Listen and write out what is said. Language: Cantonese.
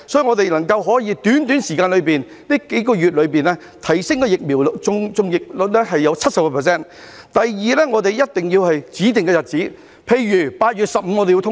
我們要在這幾個月內提升疫苗的接種率至 70%； 第二，我們一定要在指定日子，例如8月15日通關。